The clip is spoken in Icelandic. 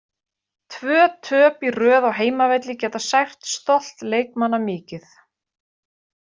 Tvö töp í röð á heimavelli geta sært stolt leikmanna mikið.